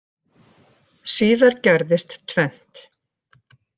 Síðar gerðist tvennt.